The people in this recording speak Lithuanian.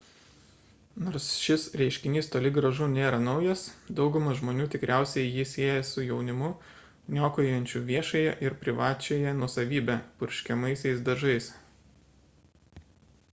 nors šis reiškinys toli gražu nėra naujas dauguma žmonių tikriausiai jį sieja su jaunimu niokojančiu viešąją ir privačiąją nuosavybę purškiamaisiais dažais